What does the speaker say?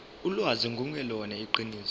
ulwazi lungelona iqiniso